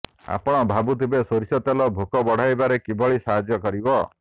ଆପଣ ଭାବୁଥିବେ ସୋରିଷ ତେଲ ଭୋକ ବଢ଼ାଇବାରେ କିଭଳି ସାହାଯ୍ୟ କରିବ